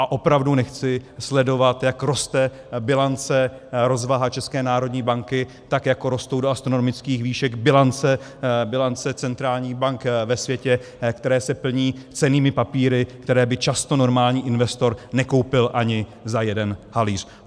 A opravdu nechci sledovat, jak roste bilance, rozvaha České národní banky, tak jako rostou do astronomických výšek bilance centrálních bank ve světě, které se plní cennými papíry, které by často normální investor nekoupil ani za jeden halíř.